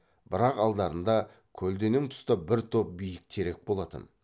бірақ алдарында көлденең тұста бір топ биік терек болатын